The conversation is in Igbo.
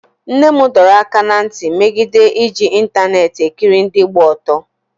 nne m dọrọ aka ná ntị megide iji ịntaneetị ekiri ndị gba ọtọ